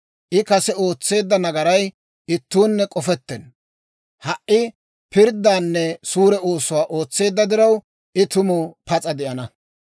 I kase ootseedda nagaray ittuunne k'ofettenna; ha"i pirddaanne suure oosuwaa ootseedda diraw, I tuma pas'a de'ana.